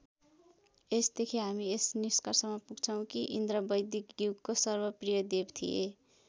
यसदेखि हामी यस निष्कर्षमा पुग्दछौं कि इन्द्र वैदिक युगको सर्वप्रिय देव थिए।